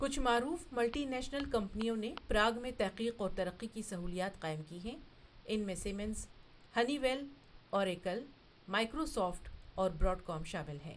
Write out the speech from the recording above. کچھ معروف multi national کمپنیوں نے پراگ میں تحقیق اور ترقی کی سہولیات قائم کی ہیں، ان میں Siemens, Honeywell, Oracle, Microsoft اور براڈ کام شامل ہیں۔